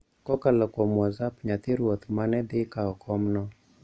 Kokalo kuom whatsapp nyathi Ruoth ma ne dhi kawo komno